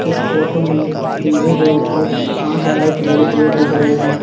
इस फोटो में डी_जे के ऊपर पांच लाइट लगे हुए दिख रहे है।